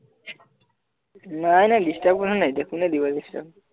নাই নাই disturb কোনেও নাই দিয়া কোনে দিব disturb